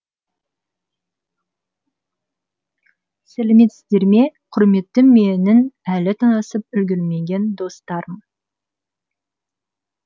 сәлеметсіздер ме құрметті менің әлі танысып үлгермеген достарым